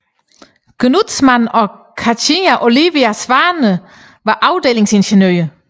Gnudtzmann og Cathinca Olivia Svane og var afdelingsingeniør